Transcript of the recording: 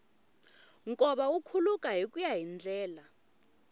nkova wu khuluka hikuya hi ndlela